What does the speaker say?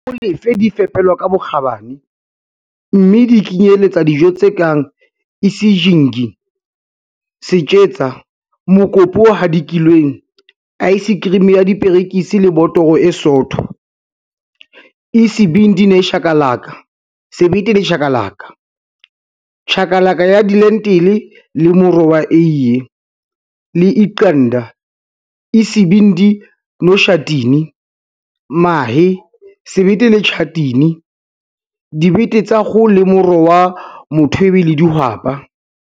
Dijo tsa Molefe di fepelwa ka bokgabane, mme di kenyeletsa dijo tse kang Isijingi - setjetsa, mokopu o hadikilweng, aesekerimi ya diperekisi le botoro e sootho, Isibindi nechakalaka - sebete le chakalaka, chakalaka ya dilentile le moro wa eie, le Iqanda, Isibindi noshatini - mahe, sebete le tjhatini, dibete tsa kgoho le moro wa mothwebe le dihwapa.